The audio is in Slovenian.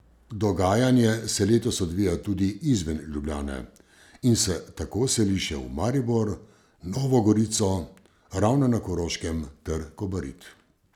Dogajanje se letos odvija tudi izven Ljubljane, in se tako seli še v Maribor, Novo Gorico, Ravne na Koroškem ter Kobarid.